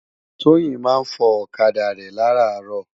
Toyin má n fò òkadá rè làrárò